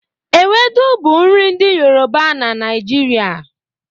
Ewedu bụ nri ndị Yoruba na Naịjirịa.